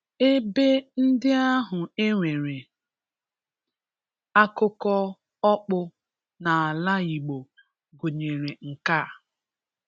Ebe ndị ahụ e nwere akụkọ ọkpụ n’ala Igbo gụnyere nke a